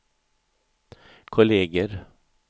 kolleger